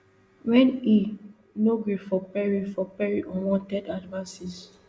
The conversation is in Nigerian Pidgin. wen e no gree for perry for perry unwanted advances